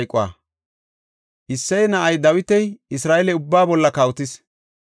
Isseye na7ay Dawiti Isra7eele ubbaa bolla kawotis.